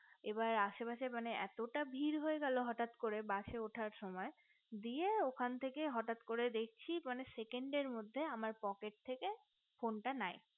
এবার আসে পাশে মানে এতটা ভিড় হয়ে গেলো হঠাৎ করে bus এ উঠার সময় দিয়ে ওখান থেকে হঠাৎ করে দেখছি মানে second এর মধ্যে আমার পকেট থেকে phone টা নাই